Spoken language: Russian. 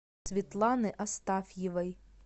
светланы астафьевой